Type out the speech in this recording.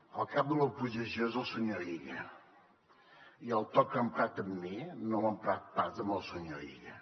el cap de l’oposició és el senyor illa i el to que ha emprat amb mi no l’ha emprat pas amb el senyor illa